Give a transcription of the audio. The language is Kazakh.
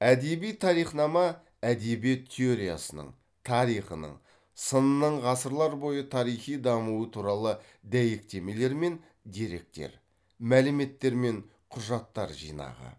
әдеби тарихнама әдебиет теориясының тарихының сынының ғасырлар бойғы тарихи дамуы туралы дәйектемелер мен деректер мәліметтер мен құжаттар жинағы